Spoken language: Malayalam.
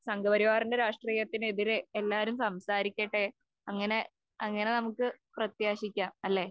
സംഘപരിവാറിന്റെ രാഷ്ട്രീയത്തിനെതിരെ എല്ലാരും സംസാരിക്കട്ടെ. അങ്ങനെ അങ്ങനെ നമുക്ക് പ്രത്യാശിക്കാം അല്ലേ